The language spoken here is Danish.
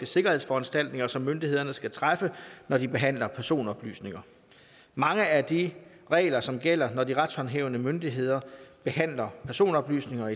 sikkerhedsforanstaltninger som myndighederne skal træffe når de behandler personoplysninger mange af de regler som gælder i når de retshåndhævende myndigheder behandler personoplysninger